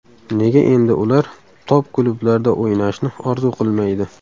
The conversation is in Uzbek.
Nega endi ular top-klublarda o‘ynashni orzu qilmaydi?